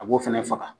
A b'o fɛnɛ faga